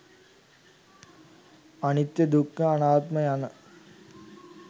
අනිත්‍ය, දුක්ඛ, අනාත්ම යන